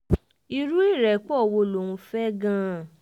irú ìrẹ́pọ̀ wo ló ń fẹ́ gan-an